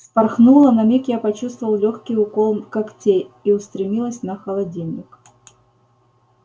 вспорхнула на миг я почувствовал лёгкий укол когтей и устремилась на холодильник